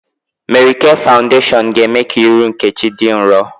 Mary K fawudeshiọn ga-eme ka ihu Nkechi dị nrọ